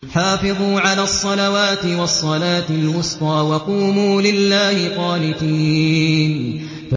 حَافِظُوا عَلَى الصَّلَوَاتِ وَالصَّلَاةِ الْوُسْطَىٰ وَقُومُوا لِلَّهِ قَانِتِينَ